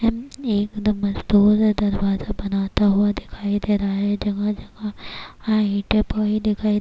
ایک نمبر مزدور دروازہ بناتا ہوا دکھایی دے رہا ہے، جگہ جگہ ینٹ دکھایی دے رہا ہے-